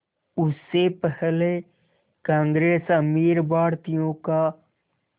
उससे पहले कांग्रेस अमीर भारतीयों का